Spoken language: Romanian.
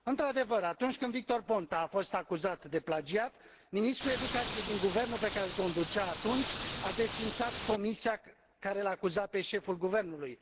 Într adevăr, atunci când Victor Ponta a fost acuzat de plagiat, ministrul educației din guvernul pe care îl conducea atunci a desființat comisia care îl acuza pe șeful guvernului.